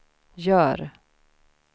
gör